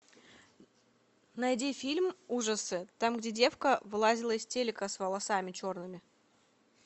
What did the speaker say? найди фильм ужасы там где девка вылазила из телека с волосами черными